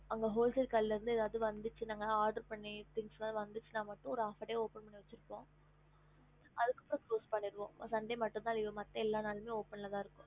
ஹம்